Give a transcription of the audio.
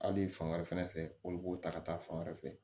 Hali fan wɛrɛ fɛnɛ fɛ olu b'o ta ka taa fan wɛrɛ fɛ